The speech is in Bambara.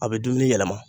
A bɛ dumuni yɛlɛma